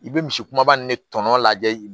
I bɛ misi kumaba nin ne tɔnɔ lajɛ